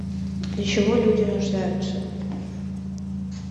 для чего люди рождаются